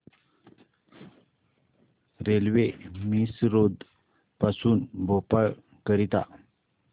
railway Misrod पासून भोपाळ करीता